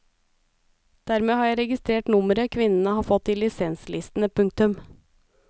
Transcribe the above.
Dermed har jeg registrert nummeret kvinnene har fått i lisenslistene. punktum